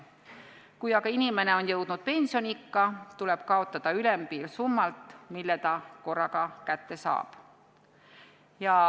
Kui aga inimene on jõudnud pensioniikka, tuleb kaotada ülempiir summalt, mille ta korraga kätte saab.